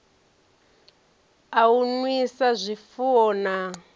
a u nwisa zwifuwo na